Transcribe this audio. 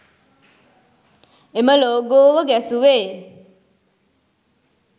එම ලෝගෝව ගැසුවේ